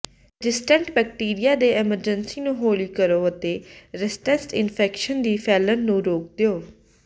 resistant bacteria ਦੇ emergency ਨੂੰ ਹੌਲੀ ਕਰੋ ਅਤੇ ਰੈਸਟੈਂਸਟ ਇਨਫੈਕਸ਼ਨਸ ਦੀ ਫੈਲਣ ਨੂੰ ਰੋਕ ਦਿਓ